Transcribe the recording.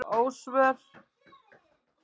Ósvör